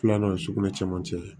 Filanan ye sukunɛ caman cɛ